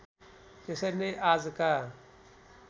त्यसरी नै आजका